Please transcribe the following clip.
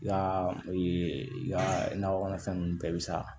Yaa nakɔ kɔnɔfɛn ninnu bɛɛ bɛ sa